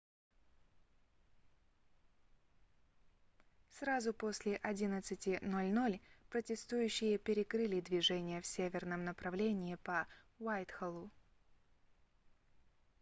сразу после 11:00 протестующие перекрыли движение в северном направлении по уайтхоллу